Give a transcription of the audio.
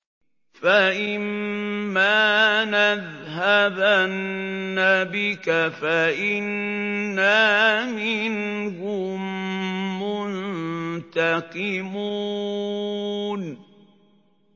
فَإِمَّا نَذْهَبَنَّ بِكَ فَإِنَّا مِنْهُم مُّنتَقِمُونَ